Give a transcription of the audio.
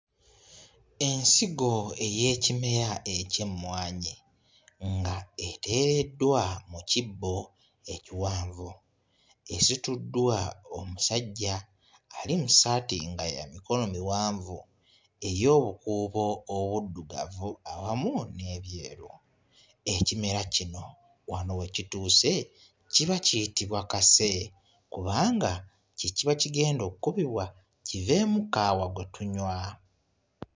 Ensigo ey'ekimera eky'emmwanyi nga eteereddwa mu kibbo ekiwanvu. Esituddwa omusajja ali mu ssaati nga ya mikono miwanvu ey'obukuubo obuddugavu awamu n'ebyeru. Ekimera kino wano we kituuse kiba kiyitibwa kase kubanga kye kiba kigenda okukubibwa kiveemu kaawa gwe tunywa.